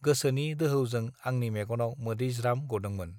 गोसोनि दोहौजों आंनि मेगनाव मोदै ज्राम गदोंमोन